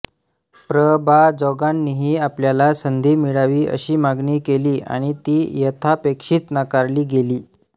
प्र बा जोगांनीही आपल्याला संधी मिळावी अशी मागणी केली आणि ती यथापेक्षित नाकारली गेली